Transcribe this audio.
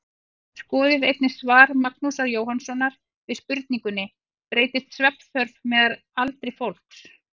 Skoðið einnig svar Magnúsar Jóhannssonar við spurningunni Breytist svefnþörf með aldri fólks?